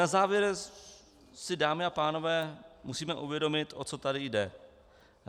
Na závěr si, dámy a pánové, musíme uvědomit, o co tady jde.